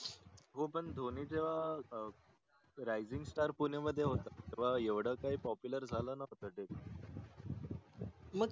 हो पन धोनी जेव्हा अं RAISINGSTARPUNE मध्ये होता तेव्हा एवढ काही POPULAR झाला नव्हता